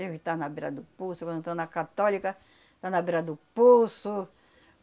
Deve estar na beira do poço, quando eu estou na católica, está na beira do poço.